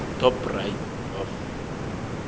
top right of